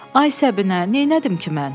Ay Səbinə, neylədim ki, mən?